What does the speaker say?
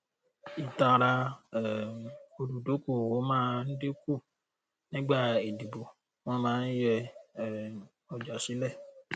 ìtara um olùdókòwò máa dín kù nígbà ìdìbò wọn máa ń yè um ọjà sílẹ